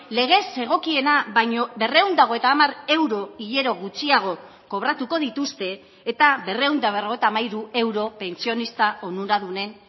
legez zegokiena baino berrehun eta hogeita hamar euro hilero gutxiago kobratuko dituzte eta berrehun eta berrogeita hamairu euro pentsionista onuradunen